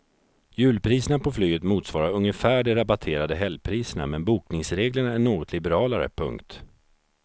Julpriserna på flyget motsvarar ungefär de rabatterade helgpriserna men bokningsreglerna är något liberalare. punkt